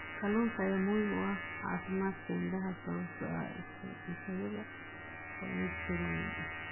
Kalluunka ayaa muhiim u ah caafimaadka indhaha sababtoo ah isku-dhisyada omega-3.